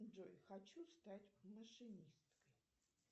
джой хочу стать машинисткой